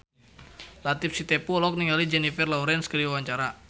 Latief Sitepu olohok ningali Jennifer Lawrence keur diwawancara